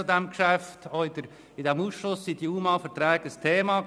Auch in diesem Ausschuss waren die UMA-Verträge ein Thema.